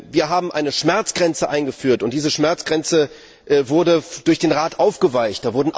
Wir haben eine Schmerzgrenze eingeführt und diese Schmerzgrenze wurde durch den Rat aufgeweicht.